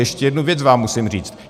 Ještě jednu věc vám musím říct.